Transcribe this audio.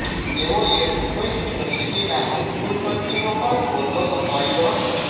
તેઓએ મુંબઈ યુનિવર્સિટીના ઉપકુલપતીનો પણ હોદ્દો સંભાળ્યો હતો